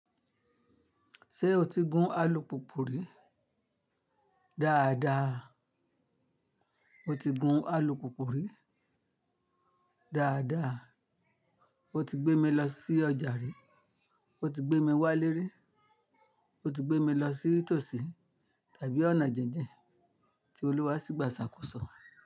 Ṣé o ti gun alùpùpù rí? Dáadáa, mo ti gun alùpùpù rí. Dáadáa, o ti gbé mi lọ sí ọjà rí. O ti gbé mi wá lérí. O ti gbé mi lọ sí tòsí tàbí ọ̀nà jinjin tí Olúwa ṣì gba iṣàkóso.